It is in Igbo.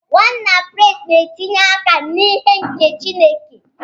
Nwanna Praise na-etinye aka n'ihe nke Chineke.